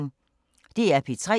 DR P3